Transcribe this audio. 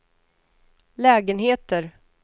lägenheter